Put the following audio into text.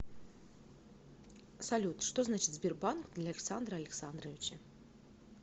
салют что значит сбербанк для александра алексадровича